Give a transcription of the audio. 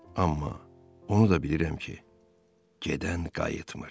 Amma onu da bilirəm ki, gedən qayıtmır.